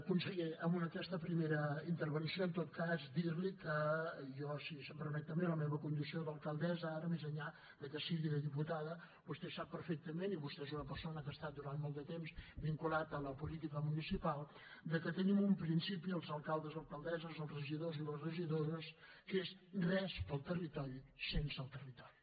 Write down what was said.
conseller amb aquesta primera intervenció en tot cas dir li que jo si se’m permet també la meva condició d’alcaldessa ara més enllà de que sigui de diputada vostè sap perfectament i vostè és una persona que ha estat durant molt de temps vinculat a la política municipal de que tenim un principi els alcaldes alcaldesses els regidors i les regidores que és res per al territori sense el territori